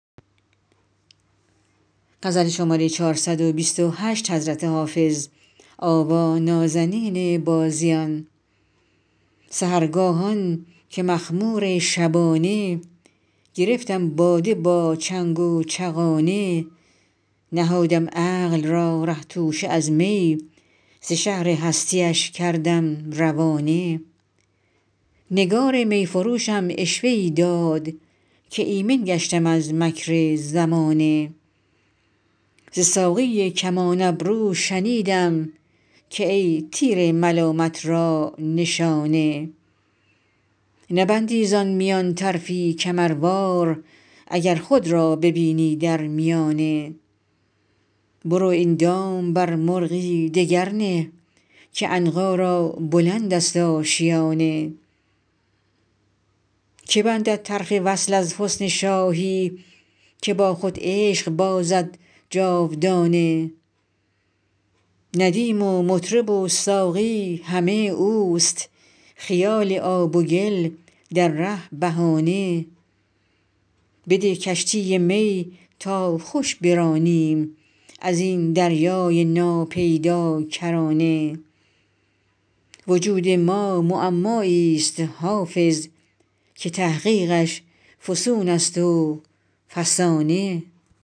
سحرگاهان که مخمور شبانه گرفتم باده با چنگ و چغانه نهادم عقل را ره توشه از می ز شهر هستی اش کردم روانه نگار می فروشم عشوه ای داد که ایمن گشتم از مکر زمانه ز ساقی کمان ابرو شنیدم که ای تیر ملامت را نشانه نبندی زان میان طرفی کمروار اگر خود را ببینی در میانه برو این دام بر مرغی دگر نه که عنقا را بلند است آشیانه که بندد طرف وصل از حسن شاهی که با خود عشق بازد جاودانه ندیم و مطرب و ساقی همه اوست خیال آب و گل در ره بهانه بده کشتی می تا خوش برانیم از این دریای ناپیداکرانه وجود ما معمایی ست حافظ که تحقیقش فسون است و فسانه